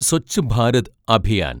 Swachh Bharat Abhiyan